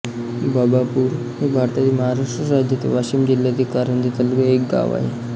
बाबापूर हे भारतातील महाराष्ट्र राज्यातील वाशिम जिल्ह्यातील कारंजा तालुक्यातील एक गाव आहे